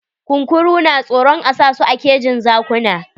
Kunkuru na tsoron a sa su a kejin zakuna.